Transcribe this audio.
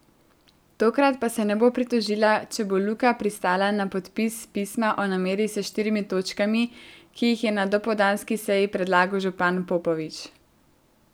Tokrat pa se ne bo pritožila, če bo Luka pristala na podpis pisma o nameri s štirimi točkami, ki jih je na dopoldanski seji predlagal župan Popovič.